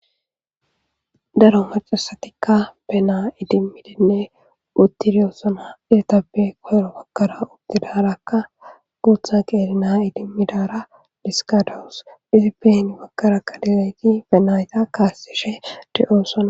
daro macasatikka benaa idimmidinne uttiriyosona irtapbe koyro bakkara udtidarakka guutha qeerina idimmidara diskadawus izi behin bakkara qalilayti penayta kaasishe de7oosona